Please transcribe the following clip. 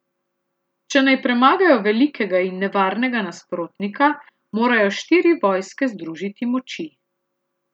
Če naj premagajo velikega in nevarnega nasprotnika, morajo štiri vojske združiti moči.